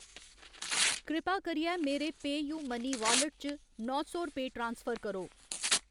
कृपा करियै मेरे पेऽयूमनी वालेट च नौ सौ रपेऽ ट्रांसफर करो।